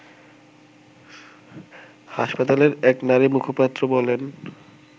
হাসপাতালের এক নারীমুখপাত্র বলেন